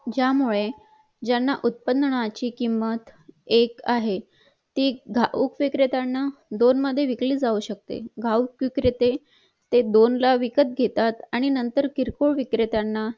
ज्या मुळे ज्यांना उत्पादनाची किंमत एक आहे ती उपविक्रेत्यांना दोन मध्ये विकली जाऊ शिकते घाऊक विक्रेते ते दोन ला विकत घेतात आणि नंतर किरकोळ विक्रत्याना